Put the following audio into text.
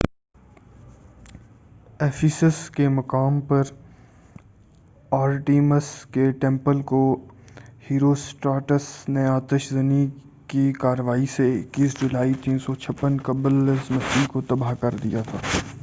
Ephesus کے مقام پر آرٹیمس کے ٹمپل کو ہیروسٹراٹس نے آتش زنی کی کارروائی سے 21 جولائی 356 قبلِ مسیح کو تباہ کر دیا تھا